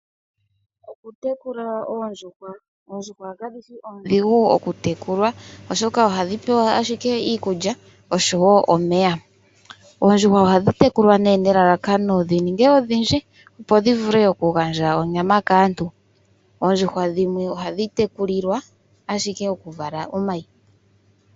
Okutekula oondjuhwa Ondjuhwa kadhi shi oondhigu oku tekulwa oshoka ohadhi pewa ashike iikulya oshowo omeya. Oondjuhwa ohadhi tekulwa nee nelalakano dhi ninge odhindji opo shi vule oku gandja onyama kaantu. Oondjuhwa dhimwe ohadhi tekulilwa ashike oku vala omayi.